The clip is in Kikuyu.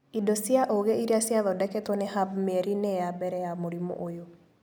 Indo cia ũgĩ iria ciathondeketwo nĩ Hub mĩeri-inĩ ya mbere ya mũrimũ ũyũ.